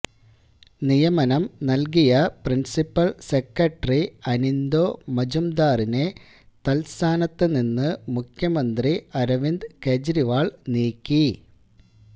നിയമനം നല്കിയ principal secretary Anindo മജുംദാറിനെ തത്സ്ഥാനത്ത് നിന്ന് മുഖ്യമന്ത്രി അരവിന്ദ് കേജ്രിവാള് നീക്കി